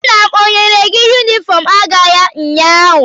Nna m enyere gị yunifọm agha ya ụnyaahụ?